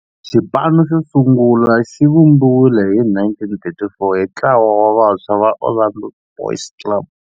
Xipano xo sungula xivumbiwile hi 1934 hi ntlawa wa vantshwa va Orlando Boys Club.